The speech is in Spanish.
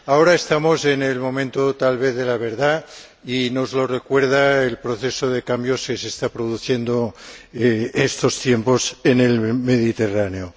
Ahora estamos en el momento tal vez de la verdad y nos lo recuerda el proceso de cambios que se está produciendo en estos tiempos en el Mediterráneo.